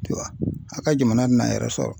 a ka jamana tɛ n'a yɛrɛ sɔrɔ.